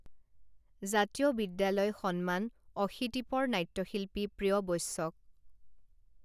জাতীয় বিদ্যালয় সন্মান অশীতিপৰ নাট্যশিল্পী প্ৰিয় বৈশ্যক